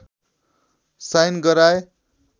sign गराए